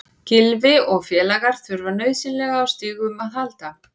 Gylfi og félagar þurfa nauðsynlega á stigum að halda.